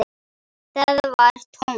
Það var tómt.